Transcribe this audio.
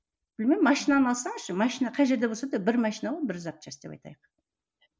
білмеймін машинаны алсаңызшы машина қай жерде болса да бір машина ғой бір запчасть деп айтайық